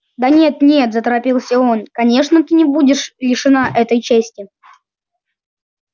да нет нет заторопился он конечно ты не будешь лишена этой чести